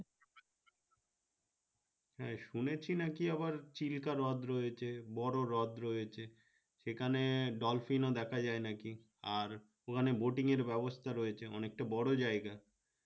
হ্যাঁ শুনেছি নাকি আবার চিরতা হৃদ রয়েছে বড় হৃদ রয়েছে সেখানে dolphin ও দেখা যায় নাকি আর ওখানে boating এর ব্যবস্থা রয়েছে অনেকটা বড় জায়গা